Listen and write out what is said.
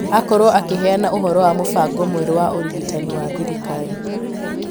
akorwo akĩheana ũhoro wa mũbango mwerũ wa ũrigitani wa thirikari